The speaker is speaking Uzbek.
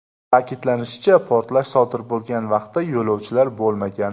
Ta’kidlanishicha, portlash sodir bo‘lgan vaqtda yo‘lovchilar bo‘lmagan.